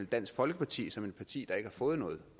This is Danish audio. dansk folkeparti som et parti der ikke har fået noget